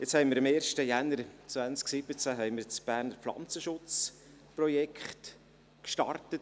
Jetzt haben wir am 1. Januar 2017 das Pflanzenschutzprojekt gestartet.